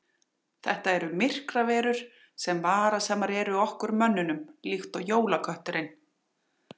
Þetta eru myrkraverur sem varasamar eru okkur mönnunum líkt og jólakötturinn.